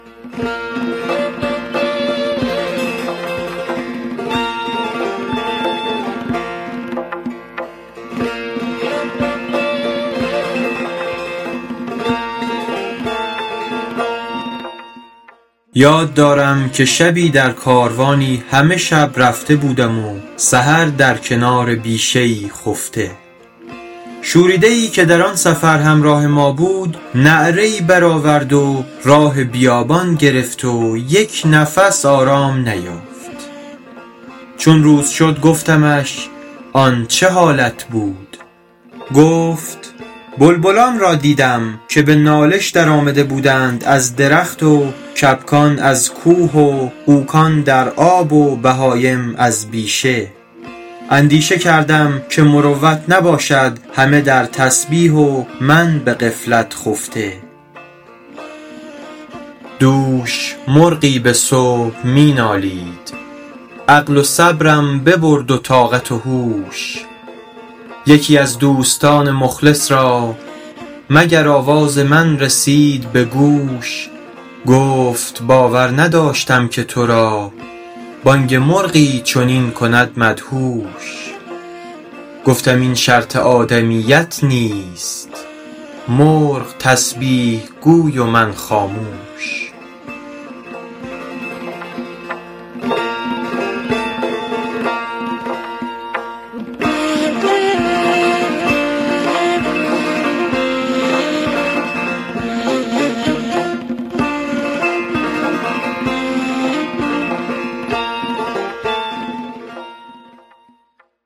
یاد دارم که شبی در کاروانی همه شب رفته بودم و سحر در کنار بیشه ای خفته شوریده ای که در آن سفر همراه ما بود نعره ای برآورد و راه بیابان گرفت و یک نفس آرام نیافت چون روز شد گفتمش آن چه حالت بود گفت بلبلان را دیدم که به نالش در آمده بودند از درخت و کبکان از کوه و غوکان در آب و بهایم از بیشه اندیشه کردم که مروت نباشد همه در تسبیح و من به غفلت خفته دوش مرغی به صبح می نالید عقل و صبرم ببرد و طاقت و هوش یکی از دوستان مخلص را مگر آواز من رسید به گوش گفت باور نداشتم که تو را بانگ مرغی چنین کند مدهوش گفتم این شرط آدمیت نیست مرغ تسبیح گوی و من خاموش